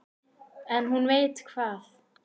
En hún veit hvað